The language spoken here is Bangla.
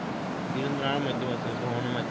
বিভিন্ন নানান মাধ্যম আছে ভ্রমণও মাধ্যম